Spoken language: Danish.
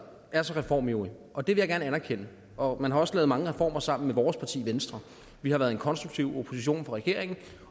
er så reformivrig og det vil jeg gerne anerkende og man også har lavet mange reformer sammen med vores parti venstre vi har været en konstruktiv opposition til regeringen